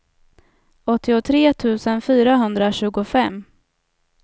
åttiotre tusen fyrahundratjugofem